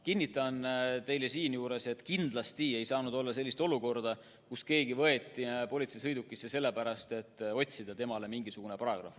Kinnitan teile, et kindlasti ei saanud olla sellist olukorda, kus keegi võeti politseisõidukisse sellepärast, et otsida talle mingisugune paragrahv.